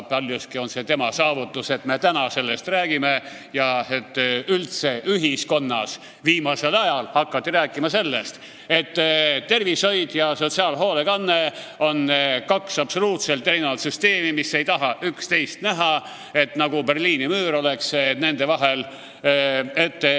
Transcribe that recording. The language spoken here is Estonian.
Paljuski on see Kai Saksa saavutus, et me täna sellest räägime ja et üldse ühiskonnas viimasel ajal on hakatud rääkima sellest, et tervishoid ja sotsiaalhoolekanne on kaks absoluutselt erinevat süsteemi, mis ei taha teineteist näha, nagu Berliini müür oleks nende vahel.